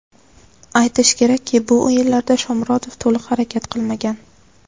Aytish kerakki, bu o‘yinlarda Shomurodov to‘liq harakat qilmagan.